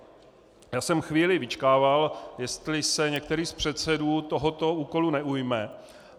Já jsem chvíli vyčkával, jestli se některý z předsedů tohoto úkolu neujme.